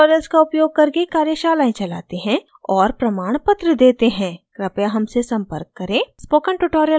हम spoken tutorials का उपयोग करके कार्यशालाएं चलाते हैं और प्रमाणपत्र देते हैं कृपया हमसे संपर्क करें